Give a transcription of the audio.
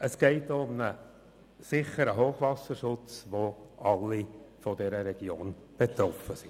Es geht auch um einen sicheren Hochwasserschutz, wovon alle in der Region betroffen sind.